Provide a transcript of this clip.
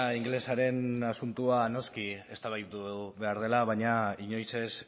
ingelesaren asuntoa noski eztabaidatu behar dela baina inoiz ez